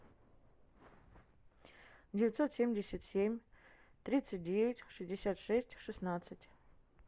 девятьсот семьдесят семь тридцать девять шестьдесят шесть шестнадцать